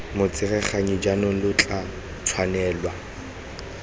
motsereganyi jaanong lo tla tshwanelwa